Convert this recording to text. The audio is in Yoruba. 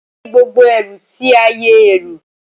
Ẹ gbé gbogbo ẹrù si ayé ẹrú